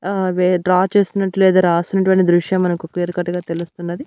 ఆ వే డ్రా చేస్తున్నట్లు లేదా రాసినటువంటి దృశ్యం మనకు క్లియర్ కట్గా తెలుస్తున్నది.